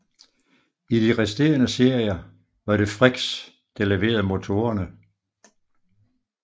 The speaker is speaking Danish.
I de resterende serier var det Frichs der leverede motorerne